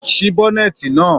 Sí í bọ́nẹ̀ẹ́eti náà.